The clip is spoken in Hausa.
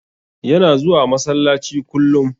Yana zuwa masallaci kullum.